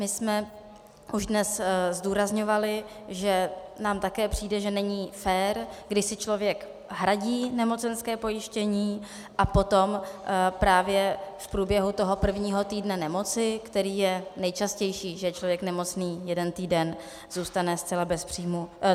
My jsme už dnes zdůrazňovali, že nám také přijde, že není fér, když si člověk hradí nemocenské pojištění a potom právě v průběhu toho prvního týdne nemoci, který je nejčastější, že je člověk nemocný jeden týden, zůstane zcela bez příjmu...